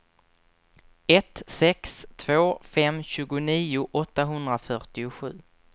ett sex två fem tjugonio åttahundrafyrtiosju